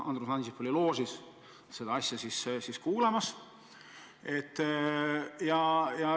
Andrus Ansip oli loožis seda kuulamas.